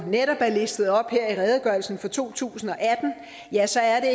netop er listet op her i redegørelsen fra to tusind og atten ja så er